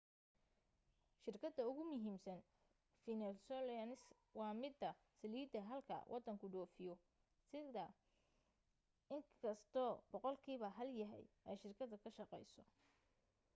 shirkada ugumuhiimsan venezuelans waa mida saliida halka wadanku dhoofiyo xitaa iskasto boqoqlkiiba hal yahay ay shirkada ka shaqayso